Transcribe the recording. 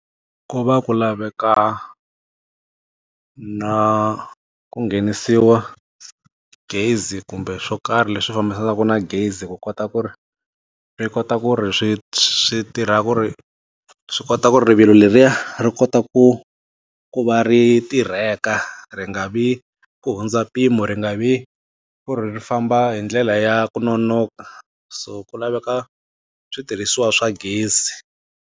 Ku va ku laveka, na ku nghenisiwa gezi kumbe swo karhi leswi fambisanaka na gezi ku kota ku ri, swi kota ku ri, swi swi tirha ku ri, swi kota ku ri rivilo leriya ri kota ku ku va ri tirheka. Ri nga vi ku hundza mpimo ri nga vi ku ri famba hi ndlela ya ku nonoka. So ku laveka switirhisiwa swa gezi.